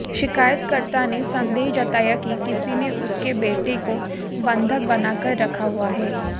शिकायतकर्ता ने संदेह जताया कि किसी ने उसके बेटे काे बंधक बनाकर रखा हुआ है